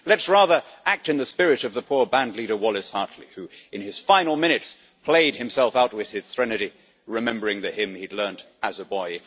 Let us rather act in the spirit of the poor bandleader, Wallace Hartley, who, in his final minutes, played himself out with his threnody, remembering the hymn he had learned as a boy.